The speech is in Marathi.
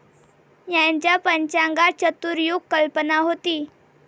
यांच्या पंचांगात चतुर्युग कल्पना होती.